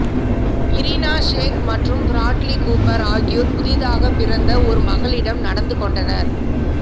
Irina Shayk மற்றும் Bradley Cooper ஆகியோர் புதிதாகப் பிறந்த ஒரு மகளிடம் நடந்து கொண்டனர்